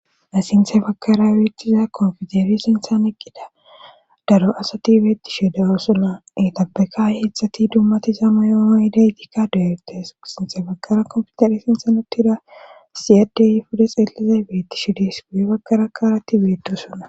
Ha sinthe bagara woottiza konpiteri sinthan eqqida daro asati beeti sheede oosona etabeka heetztdzati dummatizama yooo idaytikka deyetes sinthe bagara konfidare sinsan ottira siyaddey fude xeelize beetti shidis guye bakaraa kaaratti beeddosona.